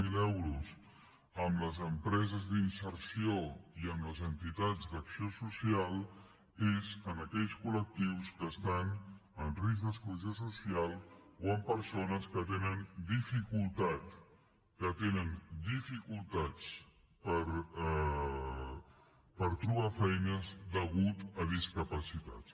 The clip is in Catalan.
zero euros amb les empreses d’inserció i amb les entitats d’acció social és en aquells col·lectius que estan en risc d’exclusió social o en persones que tenen dificultat que tenen dificultats per trobar feina a causa de discapacitats